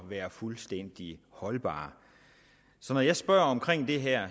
være fuldstændig holdbare så når jeg spørger om det her